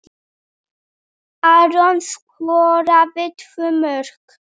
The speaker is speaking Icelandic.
Aron skoraði tvö mörk.